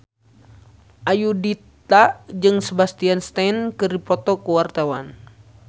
Ayudhita jeung Sebastian Stan keur dipoto ku wartawan